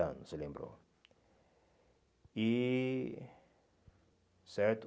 anos, lembrou. E certo